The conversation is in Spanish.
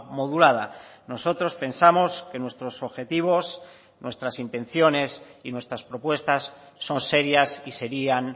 modulada nosotros pensamos que nuestros objetivos nuestras intenciones y nuestras propuestas son serias y serían